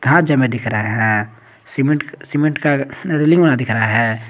दिख रहा है सीमेंट सीमेंट का रेलिंग वा दिख रहा है।